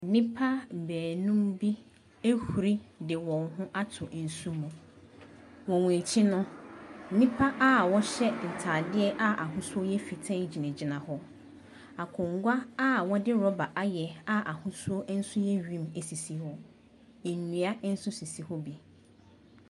Nipa beenum bi ahuri de wɔn ho ato nsu mu. Wɔn akyi no, nipa aa wɔhyɛ ntaadeɛ aa ahosuo yɛ fitaa gyina gyina hɔ. Akongwa aa wɔde rɔba ayɛ, aa ahosuo nso yɛ wim asisi hɔ. Ndua nso sisi hɔ bi.